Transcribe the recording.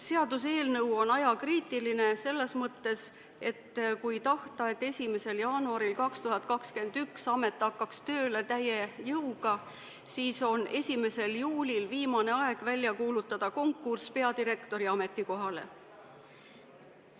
Seaduseelnõu on ajakriitiline selles mõttes, et kui tahta, et 1. jaanuaril 2021 amet hakkaks tööle täie jõuga, siis on 1. juulil viimane aeg välja kuulutada konkurss peadirektori ametikohale.